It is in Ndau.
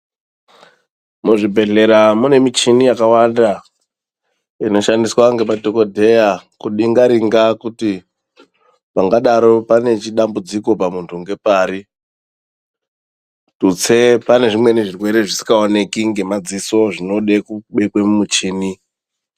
Muzvibhedhlera mune michini yakawanda inoshandiswa ngemadhokodheya kudhengarenga kuti pangadaro pane dambudziko pamunthu ngepari tutse pane zvimweni zvirwere zvisingaoneke ngemadziso zvinode kubekwe mumuchini.